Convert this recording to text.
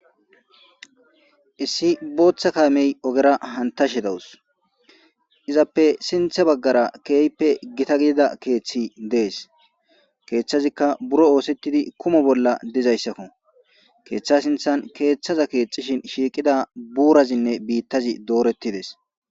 Issi booththa kaamee ogera hanththashe dawus; izappe hini baggara keehippe githa gidida keeththi de7ees; keeththazikka buro ooseththizi kumo bolla dizayssakoo; keeththaa sinththan keeththaza keexxishin shiiqiza buurathinne biiththazi dooreththi des.